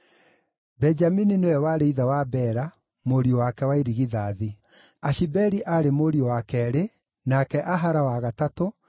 Benjamini nĩwe warĩ ithe wa Bela, mũriũ wake wa irigithathi; Ashibeli aarĩ mũriũ wa keerĩ, nake Ahara wa gatatũ,